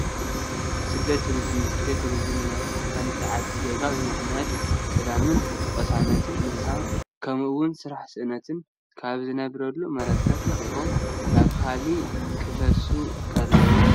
ስደትን ቱሪዝምን፡- ስደትን ቱሪዝምን ማለት ናይ ሓንቲ ዓዲ ዜጋታት ብምኽንያት ሰላምን ቅሳነትን ምስኣን ከምኡ ውን ስራሕ ስእነት ካብ ዝነብሩሉ መረበት ለቒቖም ናብ ካሊእ ክፈልሱ ከለው እዩ፡፡